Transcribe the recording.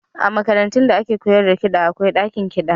A makarantun da ake koyar da kiɗa akwai ɗakin kiɗa.